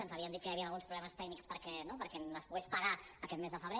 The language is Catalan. ens havien dit que hi havien alguns problemes tècnics perquè es pogués pagar aquest mes de febrer